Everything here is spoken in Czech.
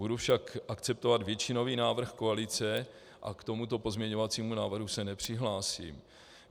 Budu však akceptovat většinový návrh koalice a k tomuto pozměňovacímu návrhu se nepřihlásím.